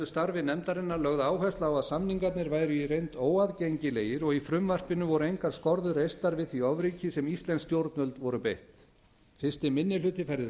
starfi nefndarinnar lögð áhersla á að samningarnir væru í reynd óaðgengilegir og í frumvarpinu voru engar skorður reistar við því ofríki sem íslensk stjórnvöld voru beitt fyrsti minni hluti færði rök